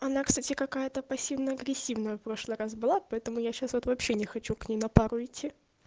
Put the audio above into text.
она кстати какая-то пассивно-агрессивная прошлый раз была поэтому я сейчас вот вообще не хочу к ней на пару идти